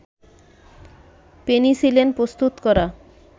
penicillin প্রস্তুত করা